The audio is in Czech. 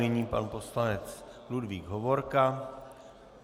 Nyní pan poslanec Ludvík Hovorka.